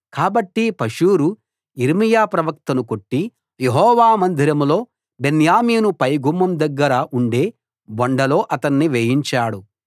కాబట్టి పషూరు యిర్మీయా ప్రవక్తను కొట్టి యెహోవా మందిరంలో బెన్యామీను పైగుమ్మం దగ్గర ఉండే బొండలో అతణ్ణి వేయించాడు